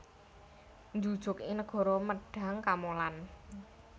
Njujug ing negara Mendhang Kamolan